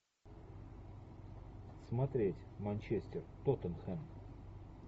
смотреть манчестер тоттенхэм